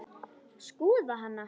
Skoða hana?